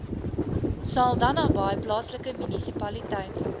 saldanhabaai plaaslike munisipaliteit